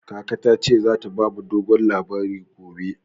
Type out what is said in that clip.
Kaka ta ce za ta ba mu dogon labari gobe.